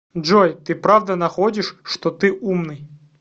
джой ты правда находишь что ты умный